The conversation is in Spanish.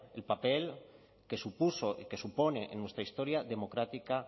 el papel que supuso y que supone en nuestra historia democrática